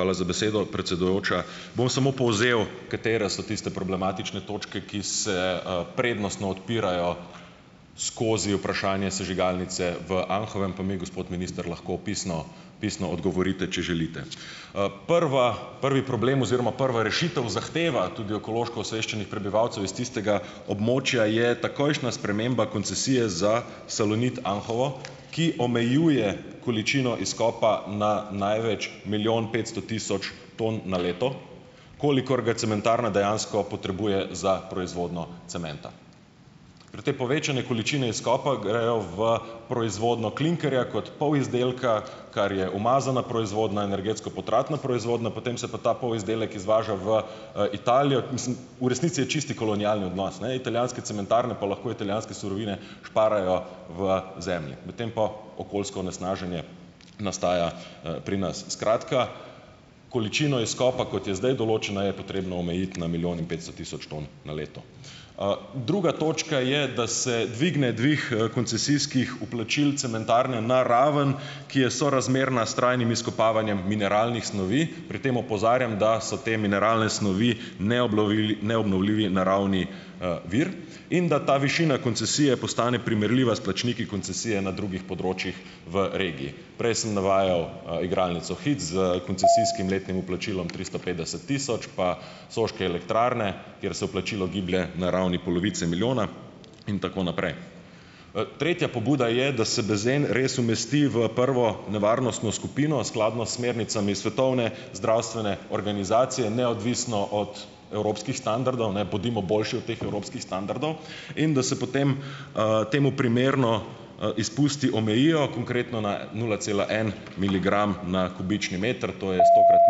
Hvala za besedo, predsedujoča. Bom samo povzel, katere so tiste problematične točke, ki se, prednostno odpirajo skozi vprašanje sežigalnice v Anhovem, pa mi gospod minister lahko pisno pisno odgovorite, če želite. Prva, prvi problem oziroma prva rešitev, zahteva tudi ekološko osveščenih prebivalcev iz tistega območja, je takojšnja sprememba koncesije za Salonit Anhovo, ki omejuje količino izkopa na največ milijon petsto tisoč tam na leto. Kolikor ga cementarna dejansko potrebuje za proizvodnjo cementa. Pri tej povečani količini izkopa grejo v proizvodnjo klinkerja kot polizdelka, kar je umazana proizvodnja, energetsko potratna proizvodnja, potem se pa ta polizdelek izvaža v, Italijo, mislim ... V resnici je čisti kolonialni odnos. Ne, italijanske cementarne pa lahko italijanske surovine šparajo v zemlji. Medtem pa okoljsko onesnaženje nastaja, pri nas. Skratka, količino izkopa, kot je zdaj določena, je potrebno omejiti na milijon in petsto tisoč ton na leto. Druga točka je, da se dvigne, dvig, koncesijskih vplačil cementarne na raven, ki je sorazmerna s trajnim izkopavanjem mineralnih snovi, pri tem opozarjam, da so te mineralne snovi neobnovljivi naravni, vir in da ta višina koncesije postane primerljiva s plačniki koncesije na drugih področjih v regiji. Prej sem navajal, igralnico Hic s koncesijskim letnim vplačilom tristo petdeset tisoč pa Soške elektrarne, kjer se vplačilo giblje na ravni polovice milijona in tako naprej. Tretja pobuda je, da se benzen res umesti v prvo nevarnostno skupino, skladno s smernicami Svetovne zdravstvene organizacije, neodvisno od evropskih standardov, ne. Bodimo boljši od teh evropskih standardov in da se potem, temu primerno, izpusti omejijo, konkretno na nula cela en miligram na kubični meter, to je stokrat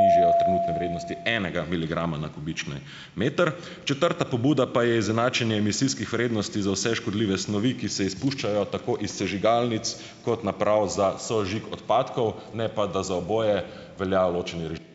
nižje od trenutne vrednosti, enega miligrama na kubični meter. Četrta pobuda pa je izenačenje emisijskih vrednosti za vse škodljive snovi, ki se izpuščajo tako iz sežigalnic kot naprav za sosežig odpadkov, ne pa da za oboje velja ločeni režim ...